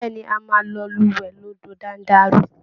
Bẹ́ẹ̀ ni, a máa lọ lúwẹ̀ẹ́ lódò Dándaruu